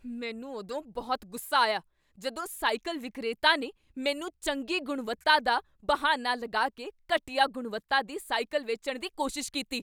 ਮੈਨੂੰ ਉਦੋਂ ਬਹੁਤ ਗੁੱਸਾ ਆਇਆ ਜਦੋਂ ਸਾਈਕਲ ਵਿਕਰੇਤਾ ਨੇ ਮੈਨੂੰ ਚੰਗੀ ਗੁਣਵੱਤਾ ਦਾ ਬਹਾਨਾ ਲਗਾ ਕੇ ਘਟੀਆ ਗੁਣਵੱਤਾ ਦੀ ਸਾਈਕਲ ਵੇਚਣ ਦੀ ਕੋਸ਼ਿਸ਼ ਕੀਤੀ।